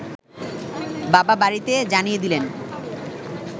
বাবা বাড়িতে জানিয়ে দিলেন